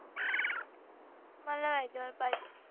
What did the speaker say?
मला आई जवळ पाहिजे